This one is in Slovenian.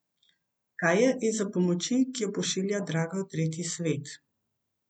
Kaj je izza pomoči, ki jo pošilja draga v tretji svet?